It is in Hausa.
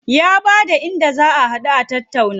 Ya bada inda za a haɗu a tattauna.